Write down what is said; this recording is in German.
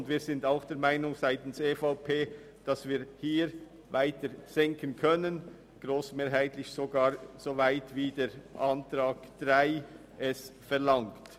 Unseres Erachtens können wir hier weiter senken, grossmehrheitlich sogar so weit wie es die Planungserklärung 3 verlangt.